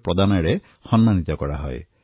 পুৰস্কৃতও কৰা হয়